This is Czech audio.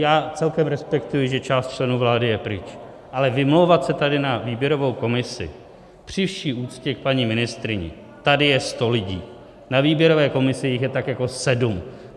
Já celkem respektuji, že část členů vlády je pryč, ale vymlouvat se tady na výběrovou komisi, při vší úctě k paní ministryni, tady je sto lidí, na výběrové komisi jich je tak jako sedm.